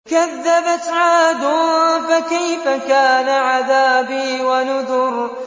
كَذَّبَتْ عَادٌ فَكَيْفَ كَانَ عَذَابِي وَنُذُرِ